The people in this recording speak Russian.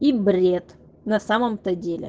и бред на самом-то деле